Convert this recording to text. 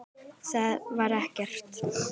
Það var ekkert.